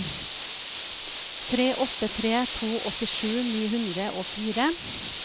tre åtte tre to åttisju ni hundre og fire